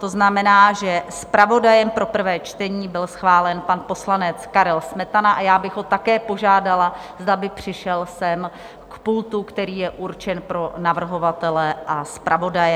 To znamená, že zpravodajem pro prvé čtení byl schválen pan poslanec Karel Smetana, a já bych ho také požádala, zda by přišel sem k pultu, který je určen pro navrhovatele a zpravodaje.